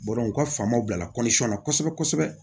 u ka faamaw bila kɔnsɛri la kosɛbɛ kosɛbɛ